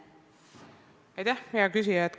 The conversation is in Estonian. Aitäh, hea küsija!